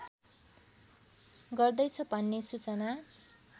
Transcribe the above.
गर्दैछ भन्ने सूचना